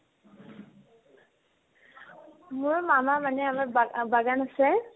মোৰ মামা মানে আমাৰ বা ~ বাগান আছে